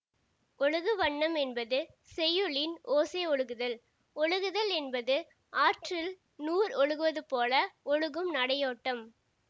ஒழுகு வண்ணம் என்பது செய்யுளின் ஓசை ஒழுகுதல் ஒழுகுதல் என்பது ஆற்றில் நூர் ஒழுகுவது போல ஒழுகும் நடையோட்டம்